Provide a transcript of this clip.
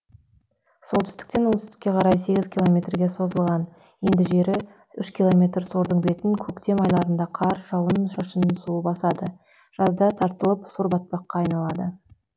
солтүстіктен оңтүстікке қарай сегіз километрге созылған енді жері үш километр сордың бетін көктем айларында қар жауын шашын суы басады жазда тартылып сор батпаққа айналады